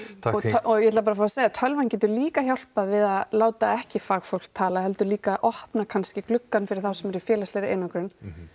og ég ætla bara að fá að segja tölvan getur líka hjálpað við að láta ekki fagfólk tala heldur líka opna kannski gluggann fyrir þá sem eru í félagslegri einangrun